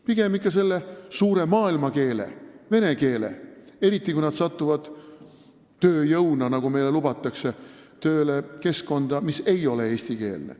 Pigem ikka suure maailmakeele vene keele, eriti kui nad satuvad tööjõuna keskkonda, mis ei ole eestikeelne.